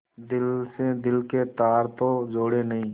दिल से दिल के तार तो जुड़े नहीं